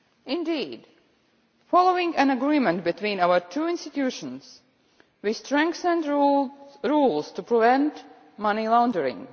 Indeed, following an agreement between our two institutions, we strengthened rules to prevent money laundering.